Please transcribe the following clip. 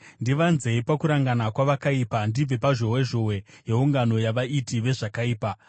Ndivanzei pakurangana kwavakaipa, ndibve pazhowezhowe yeungano yavaiti vezvakaipa.